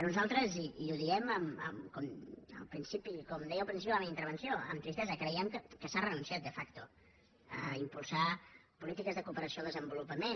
nosaltres i ho diem com deia al principi de la meva intervenció amb tristesa creiem que s’ha renunciat de facto a impulsar polítiques de cooperació al desenvolupament